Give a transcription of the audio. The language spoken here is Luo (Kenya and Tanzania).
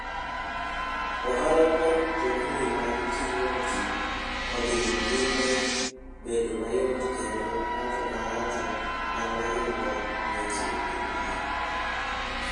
Ohala mar mtokni mag ting'o ji odhi nyime bedo mayot kendo ng'ato ka ng'ato nyalo yudo weche e iye.